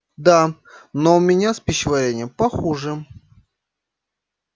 да но у меня с пищеварением похуже